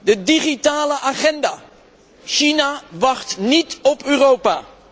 De digitale agenda China wacht niet op Europa.